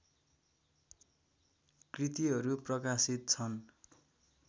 कृतिहरू प्रकाशित छन्